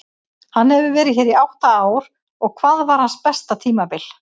Hann hefur verið hér í átta ár og hvað var hans besta tímabil?